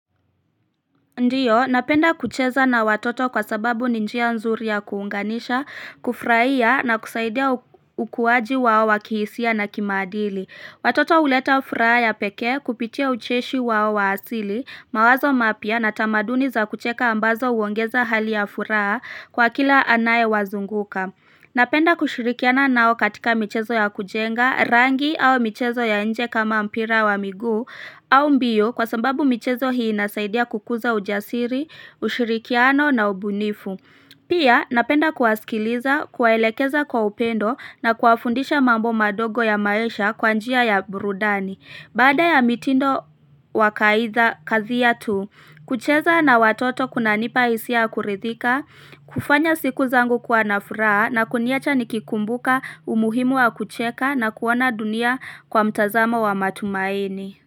Ndio, napenda kucheza na watoto kwa sababu ni njia nzuri ya kuunganisha, kufurahia na kusaidia ukuwaji wao wa kihisia na kimaadili. Watoto huleta furaha ya pekee kupitia ucheshi wao wa asili, mawazo mapya na tamaduni za kucheka ambazo huongeza hali ya furaha kwa kila anayewazunguka. Napenda kushirikiana nao katika michezo ya kujenga, rangi au michezo ya nje kama mpira wa miguu au mbio kwa sababu michezo hii inasaidia kukuza ujasiri, ushirikiano na ubunifu. Pia napenda kuwasikiliza, kuwaelekeza kwa upendo na kuwafundisha mambo madogo ya maisha kwa njia ya burudani. Baada ya mitindo wa kazi yetu, kucheza na watoto kunanipa hisia ya kuridhika, kufanya siku zangu kwa na furaha na kuniacha nikikumbuka umuhimu wa kucheka na kuona dunia kwa mtazamo wa matumaini.